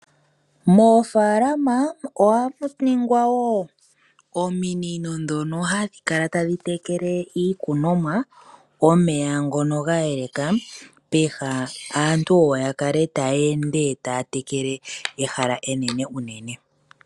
Moofaalama ohamu ningwa woo ominino dhono hadhi kala tadhi tekele iikunomwa omeya ngono ga yeleka, peha aantu oyo ya kale taya ende taya tekele ehala enene unene.